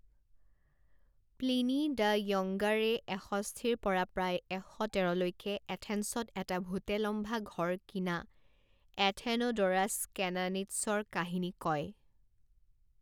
Pliny the য়ংগাৰে এষষ্ঠি পৰা প্ৰায় এশ তেৰলৈকে এথেন্সত এটা ভূতে লম্ভা ঘৰ কিনা এথেনোড'ৰাছ কেনানিটছৰ কাহিনী কয়।